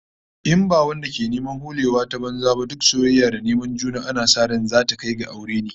In ba wadanda ke neman holewa ta banza ba, duk soyayya da neman juna ana sa ran zata kai ga aure ne